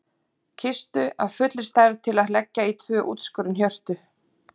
Kistu af fullri stærð til að leggja í tvö útskorin hjörtu.